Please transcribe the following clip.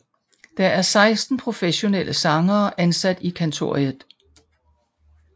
Der er 16 professionelle sangere ansat i Kantoriet